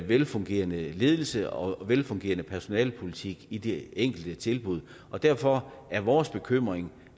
velfungerende ledelse og velfungerende personalepolitik i de enkelte tilbud derfor er vores bekymring